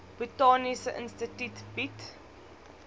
botaniese instituut bied